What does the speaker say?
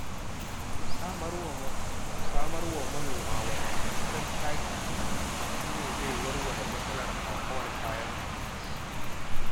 Samar wa manoma wadataccen taki shi ne zai warware matsalar hauhawar kayan abinci.